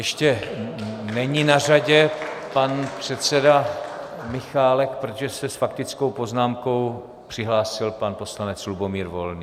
Ještě není na řadě pan předseda Michálek, protože se s faktickou poznámkou přihlásil pan poslanec Lubomír Volný.